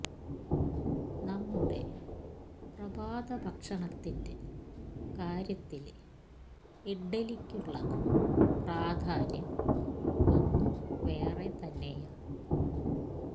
നമ്മുടെ പ്രഭാത ഭക്ഷണത്തിന്റെ കാര്യത്തില് ഇഡ്ഡലിയ്ക്കുള്ള പ്രാധാന്യം ഒന്നു വേറെ തന്നെയാണ്